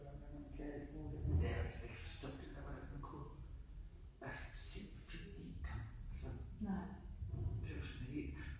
Hvad man kan nu det kan jeg jo slet ikke forstå alt det man kunne altså se en film igen det var sådan helt